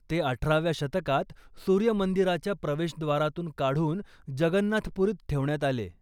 ते अठराव्या शतकात सूर्य मंदिराच्या प्रवेशद्वारातून काढून जगन्नाथ पुरीत ठेवण्यात आले.